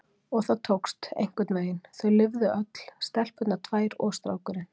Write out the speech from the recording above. Og það tókst, einhvernveginn, þau lifðu öll, stelpurnar tvær og strákurinn